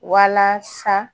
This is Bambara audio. Wala sa